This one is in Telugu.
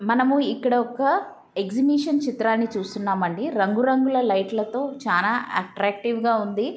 మనము ఇక్కడ ఎక్సిబిషన్ చిత్రాన్ని చూస్తున్నాం అండి. రంగు రంగులు లైట్ ల తో చాలా ఎట్రాక్షటీవీ గ ఉంది.